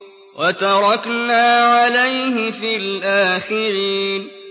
وَتَرَكْنَا عَلَيْهِ فِي الْآخِرِينَ